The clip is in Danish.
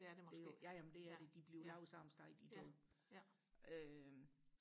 det er det måske ja ja ja ja